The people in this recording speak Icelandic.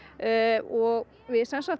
og við sem sagt